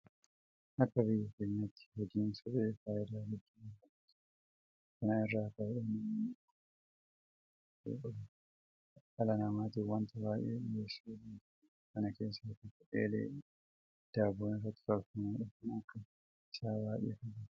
Akka biyya keenyaatti hojiin suphee faayidaa guddaa argamsiisaa jira. Kana irraa ka'uudhaan namoonni ogummaa meeshaa kana hojjechuu qaban dhala naamaatiif waanta baay'ee dhiyeessuu danda'aniiru. Kana keessaa tokko eelee daabboon irratti tolfamudha. Kan akka isaa baay'eetu jira.